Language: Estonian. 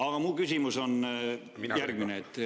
Aga mu küsimus on järgmine.